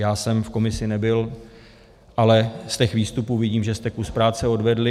Já jsem v komisi nebyl, ale z těch výstupů vidím, že jste kus práce odvedli.